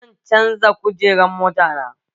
Zan canza kujerun mota na